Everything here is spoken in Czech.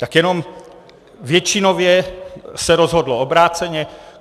Tak jenom většinově se rozhodlo obráceně.